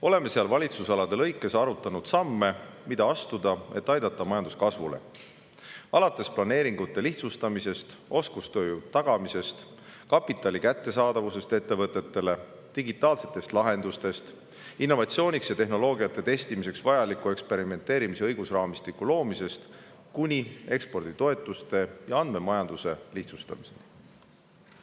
Oleme seal valitsusalade kaupa arutanud samme, mida astuda, et aidata majandus kasvule, alates planeeringute lihtsustamisest, oskustööjõu tagamisest, kapitali kättesaadavusest ettevõtetele, digitaalsetest lahendustest, innovatsiooniks ja tehnoloogia testimiseks vajaliku eksperimenteerimise õigusraamistiku loomisest kuni eksporditoetuste ja andmemajanduse lihtsustamiseni.